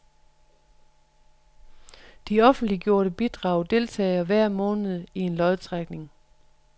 Alle offentliggjorte bidrag deltager hver måned i en lodtrækning.